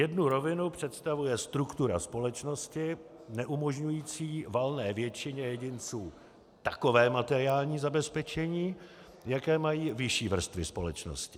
Jednu rovinu představuje struktura společnosti neumožňující valné většině jedinců takové materiální zabezpečení, jaké mají vyšší vrstvy společnosti.